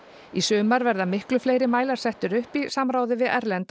í sumar verða miklu fleiri mælar settir upp í samráði við erlenda